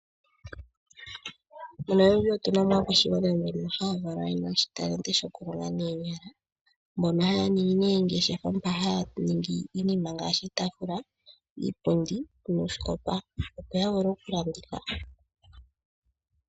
MoNamibia otu na mo aakwashigwana mbono haya valwa ye na oshitalenti shokulonga noonyala. Mbono haya ningi oongeshefa mpono haya ningi iinima ngaashi iitaafula, iipundi noosikopa, opo ya vule okulanditha.